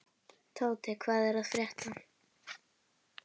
Tóti, hvað er að frétta?